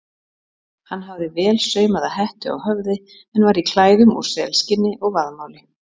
Hann hafði vel saumaða hettu á höfði en var í klæðum úr selskinni og vaðmáli.